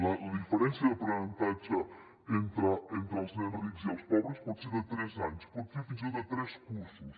la diferència d’aprenentatge entre els nens rics i els pobres pot ser de tres anys pot ser fins i tot de tres cursos